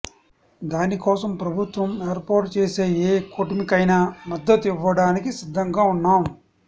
దానికోసం ప్రభుత్వం ఏర్పాటు చేసే ఏ కూటమికైనా మద్దతు ఇవ్వడానికి సిద్ధంగా ఉన్నాం